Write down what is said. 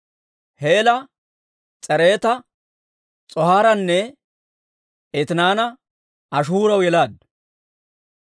Heela S'eereta, S'oohaaranne Etinaana Ashihuuraw yelaaddu.